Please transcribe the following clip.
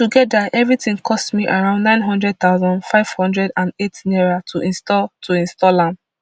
togeda evrtin cost me around nine hundred thousand five hundred and eight naira to install to install am